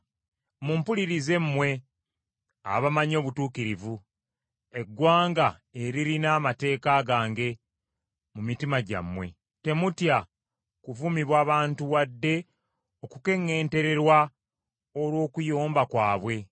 “Mumpulirize, mmwe abamanyi obutuukirivu, eggwanga eririna amateeka gange mu mitima gyammwe. Temutya kuvumibwa bantu wadde okukeŋŋentererwa olw’okuyomba kwabwe.